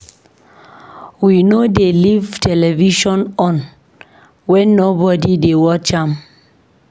We no dey leave television on wen nobody dey watch am.